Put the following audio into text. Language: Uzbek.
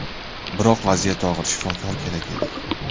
Biroq vaziyat og‘ir, shifokor kerak edi.